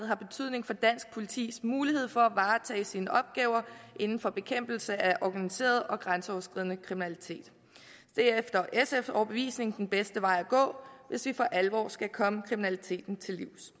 har betydning for dansk politis mulighed for at varetage sine opgaver inden for bekæmpelse af organiseret og grænseoverskridende kriminalitet det er efter sfs overbevisning den bedste vej at gå hvis vi for alvor skal komme kriminaliteten til livs